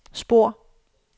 spor